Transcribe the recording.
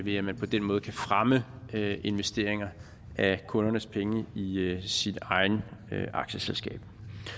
i at man på den måde kan fremme investeringer af kundernes penge i sit eget aktieselskab